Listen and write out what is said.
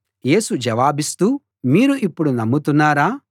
యేసు జవాబిస్తూ మీరు ఇప్పుడు నమ్ముతున్నారా